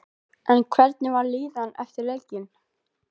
En hvernig var líðanin eftir leikinn?